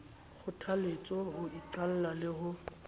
kgothaletswe ho iqalla le ho